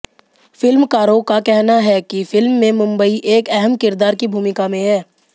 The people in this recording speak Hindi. फिल्मकारों का कहना है कि फिल्म में मुंबई एक अहम किरदार की भूमिका में है